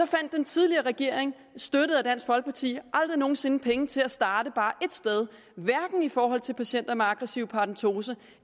fandt den tidligere regering støttet af dansk folkeparti aldrig nogen sinde penge til at starte bare ét sted hverken i forhold til patienter med aggressiv paradentose